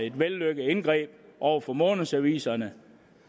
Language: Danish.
et vellykket indgreb over for månedsaviserne